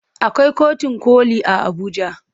Akwai kotun koli a Abuja.